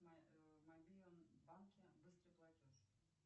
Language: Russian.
в мобильном банке быстрый платеж